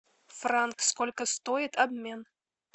франк сколько стоит обмен